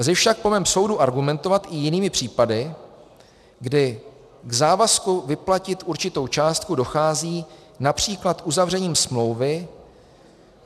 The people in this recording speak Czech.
Lze však po mém soudu argumentovat i jinými případy, kdy k závazku vyplatit určitou částku dochází například uzavřením smlouvy.